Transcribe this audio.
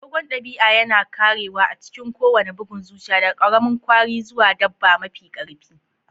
Agogon dabi'a yana karewa a cikin kowane bugun zuciya, daga ƙaramin kwari zuwa dabba mafi ƙarfi.